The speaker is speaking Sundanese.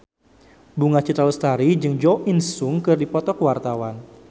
Bunga Citra Lestari jeung Jo In Sung keur dipoto ku wartawan